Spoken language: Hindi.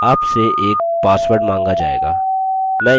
आपसे एक password माँगा जाएगा